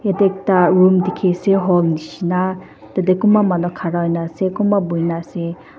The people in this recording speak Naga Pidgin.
yatae ekta room dikhiase hall nishi na tatae kunba manu khara hoina ase kunba boina ase.